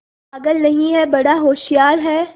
पागल नहीं हैं बड़ा होशियार है